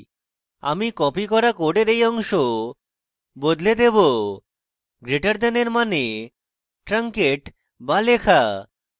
আমি copied করা code এই অংশ বদলে দেবো greater দেন > এর means ট্রাংকেট so লেখা